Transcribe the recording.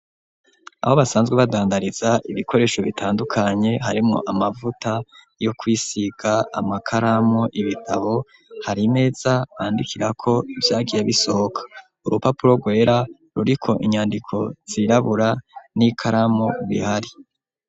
Aho basanzwe badandariza ibikoresho bitandukanye harimwo amavuta yo kwisiga ,amakaramu ,ibitabo hari imeza bandikirako ivyagiye bisohoka ,urupapuro rwera ruriko inyandiko zirabura n'ikaramu bihari.